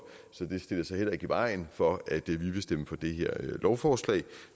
så det stiller sig heller ikke i vejen for at vi vil stemme for det her lovforslag